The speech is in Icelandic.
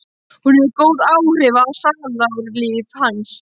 Hún hefur góð áhrif á sálarlíf hans.